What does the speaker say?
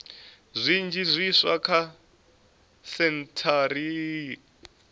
zwinzhi zwiswa kha sentshari iyi